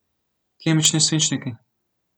Kemični svinčniki.